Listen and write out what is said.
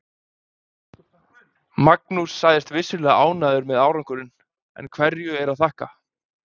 Magnús segist vissulega ánægður með árangurinn, en hverju er að þakka?